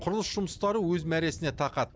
құрылыс жұмыстары өз мәресіне тақады